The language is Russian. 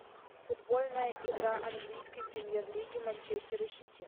футбольная игра английской премьер лиги манчестера сити